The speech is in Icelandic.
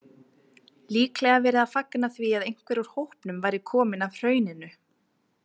Líklega verið að fagna því að einhver úr hópnum væri kominn af Hrauninu.